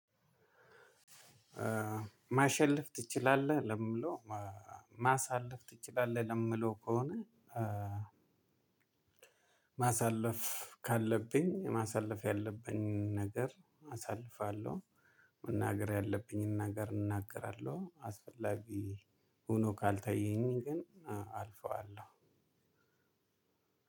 ማሸለፍ ትችላለህ ለሚለው ማሳለፍ ትችላለህ ለሚለው ከሆነ ማሳለፍ ካለብኝ ማሳለፍ ያለብኝ ነገር አሳልፋለሁ። መናገር ያለብኝን ነገር እናገራለሁ አስፈላጊ ሆኖ ካልታየኝ ግን አልፈዋለሁ።